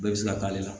Bɛɛ bɛ se ka k'ale la